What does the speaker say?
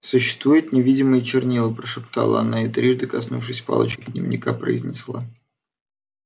существуют невидимые чернила прошептала она и трижды коснувшись палочкой дневника произнесла